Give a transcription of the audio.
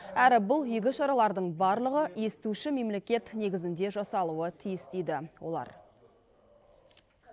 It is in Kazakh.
әрі бұл игі шаралардың барлығы естуші мемлекет негізінде жасалуы тиіс дейді олар